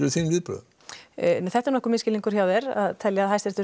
þín viðbrögð þetta er misskilningur hjá þér Hæstiréttur